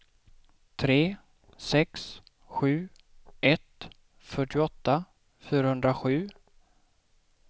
tre sex sju ett fyrtioåtta fyrahundrasju